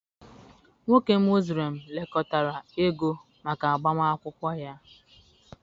Nwoke Muslim lekọtara ego maka agbamakwụkwọ ya.